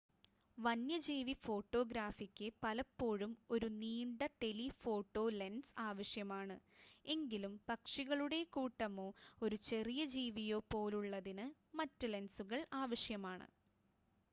വന്യജീവി ഫോട്ടോഗ്രാഫിക്ക് പലപ്പോഴും ഒരു നീണ്ട ടെലിഫോട്ടോ ലെൻസ് ആവശ്യമാണ് എങ്കിലും പക്ഷികളുടെ കൂട്ടമോ ഒരു ചെറിയ ജീവിയോ പോലുള്ളതിന് മറ്റ് ലെൻസുകൾ ആവശ്യമാണ്